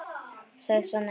sagði Svenni.